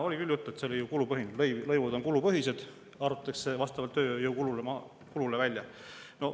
Oli küll juttu, et see on kulupõhine, et lõivud on kulupõhised, arvutatakse vastavalt tööjõukulule.